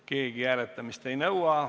Keegi hääletamist ei nõua.